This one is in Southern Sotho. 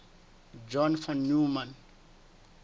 john von neumann